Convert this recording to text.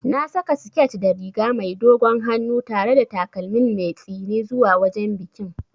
Na saka siket da riga mai dogon hannu tare da takalmin mai tsini zuwa wajen bikin.